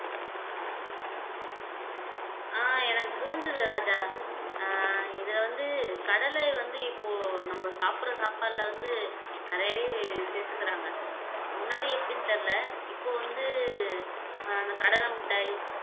ஆஹ் எனக்கு புரிஞ்சுது ராஜா அஹ் இதுல வந்து கடலை வந்து இப்போ நம்ம சாப்பிடுற சாப்பாட்டுல வந்து நிறையவே சேர்த்துக்கிறாங்க முன்னாடி எப்படின்னு தெரியலே இப்ப வந்து அஹ் அந்த கடலை மிட்டாய்